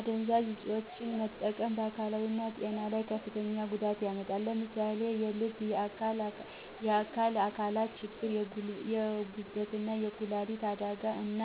አደንዛዥ እፆችን መጠቀም በአካላዊ ጤና ላይ ከፍተኛ ጉዳት ያመጣል። ለምሳሌ የልብና የአካል አካላት ችግር፣ የጉበትና የኩላሊት አደጋ፣ እና